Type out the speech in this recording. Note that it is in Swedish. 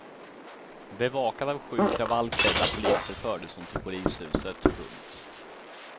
Bevakad av sju kravallklädda poliser fördes hon till polishuset. punkt